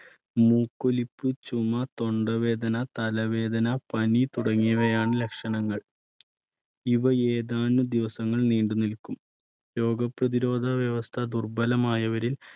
മൂക്കൊലിപ്പ്, ചുമ, തൊണ്ടവേദന, തലവേദന, പനി തുടങ്ങിയവയാണ് ലക്ഷണങ്ങൾ. ഇവ ഏതാനും ദിവസങ്ങൾ നീണ്ടുനിൽക്കും രോഗപ്രതിരോധ വ്യവസ്ഥ ദുർബലമായവരിൽ